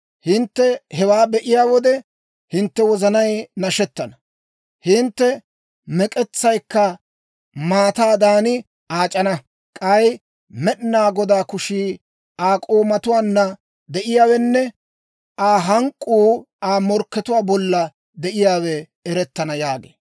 Hintte hewaa be'iyaa wode, hintte wozanay nashettana; hintte mek'etsaykka maataadan aac'ana. K'ay Med'inaa Godaa kushii Aa k'oomatuwaanna de'iyaawenne Aa hank'k'uu Aa morkkatuwaa bollan de'iyaawe erettana» yaagee.